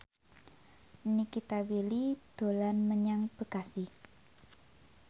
Nikita Willy dolan menyang Bekasi